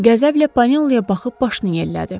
Qəzəblə Paneloya baxıb başını yellədi.